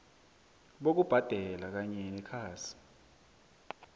bokubhadela kanye nekhasi